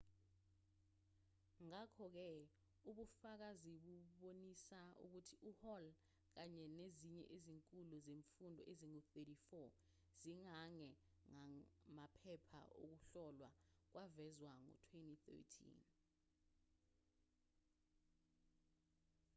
ngakho-ke ubufakazi bubonisa ukuthi uhall kanye nezinye izikhulu zemfundo ezingu-34 zigange ngamaphepha okuhlolwa kwavezwa ngo-2013